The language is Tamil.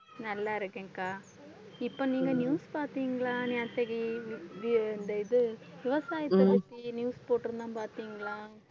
நல்லா இருக்கேன்கா. இப்போ நீங்க news பார்த்தீங்களா இ~ இந்த இது விவசாயத்தை பத்தி news போட்டிருந்தான் பார்த்தீங்களா?